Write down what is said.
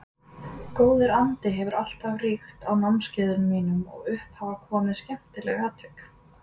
Góður andi hefur alltaf ríkt á námskeiðum mínum og upp hafa komið skemmtileg atvik.